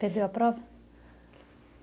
Perdeu a prova?